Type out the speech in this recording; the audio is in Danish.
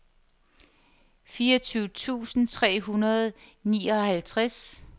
fireogtyve tusind tre hundrede og nioghalvtreds